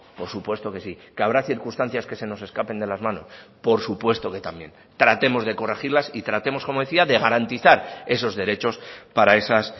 por supuesto que sí que habrá circunstancias que se nos escapen de las manos por supuesto que también tratemos de corregirlas y tratemos como decía de garantizar esos derechos para esas